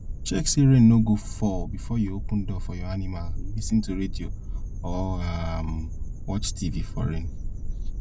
check say rain no go fall before you open door for your animal lis ten to radio or um watch tv for rain